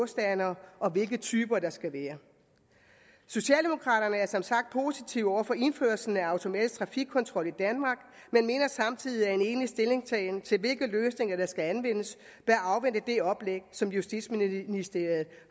standere og hvilke typer der skal være socialdemokraterne er som sagt positive over for indførelsen af automatisk trafikkontrol i danmark men mener samtidig at en egentlig stillingtagen til hvilke løsninger der skal anvendes bør afvente det oplæg som justitsministeriet